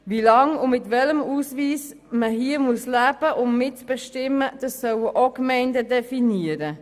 Wie lange und mit welchem Ausweis man hier leben muss, um mitbestimmen zu können, sollen ebenfalls die Gemeinden definieren.